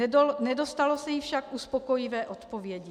Nedostalo se jí však uspokojivé odpovědi.